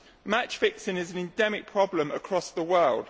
Match fixing is an endemic problem across the world.